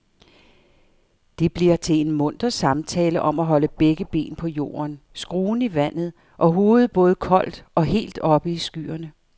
Det bliver til en munter samtale om at holde begge ben på jorden, skruen i vandet og hovedet både koldt og helt oppe i skyerne.